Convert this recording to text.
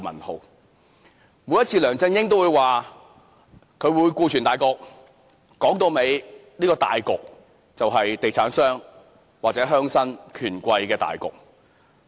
每一次，梁振英都會表明要顧全大局，說到底，這個大局就是地產商或鄉紳權貴的大局。